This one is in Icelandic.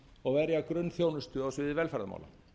og verja grunnþjónustu á sviði velferðarmála